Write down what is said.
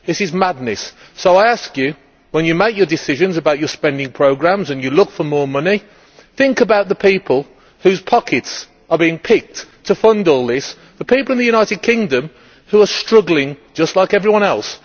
This is madness, so I ask you when you make your decisions about your spending programmes and you look for more money, think about the people whose pockets are being picked to fund all this the people in the United Kingdom who are struggling just like everyone else.